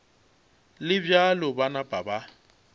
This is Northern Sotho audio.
le bjalo ba napa ba